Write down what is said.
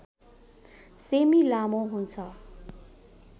semi लामो हुन्छ